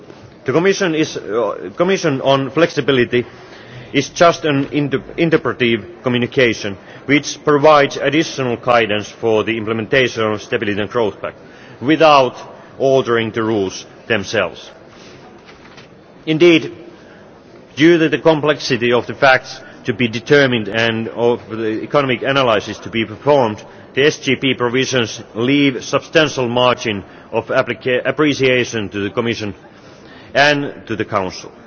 The Commission document on Flexibility is just an interpretative communication which provides additional guidance for the implementation of the Stability and Growth Pact, without ordering the rules themselves. Indeed, due to the complexity of the facts to be determined and of the economic analysis to be performed, the SGP provisions leave a substantial margin of appreciation to the Commission and to the Council.